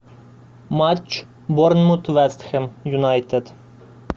матч борнмут вест хэм юнайтед